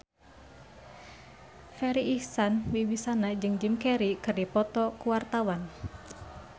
Farri Icksan Wibisana jeung Jim Carey keur dipoto ku wartawan